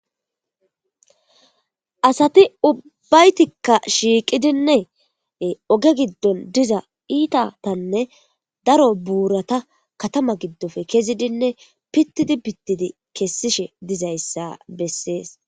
Asati ubbaytikka shiiqidinne oge giddon diza iitatanne daro buurata katama giddofe kezidinne pittidi bittidi kessishe dizayssa bessees.